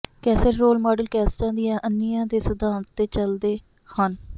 cassette role model ਕੈਸਟਾਂ ਦੀਆਂ ਅੰਨ੍ਹੀਆਂ ਦੇ ਸਿਧਾਂਤ ਤੇ ਚਲਦੇ ਹਨ